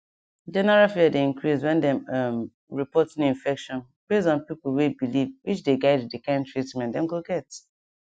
general fear dey increase when dem um report new infection base on pipo way believewhich dey guide the kind treatment dem go get